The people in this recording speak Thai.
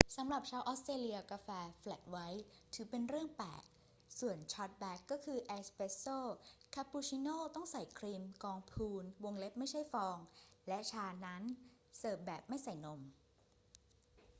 สำหรับชาวออสเตรเลีย กาแฟ 'แฟลตไวท์' ถือเป็นเรื่องแปลก ส่วนชอร์ตแบล็กก็คือ 'เอสเปรสโซ' คาปูชิโนต้องใส่ครีมกองพูน ไม่ใช่ฟอง และชานั้นเสิร์ฟแบบไม่ใส่นม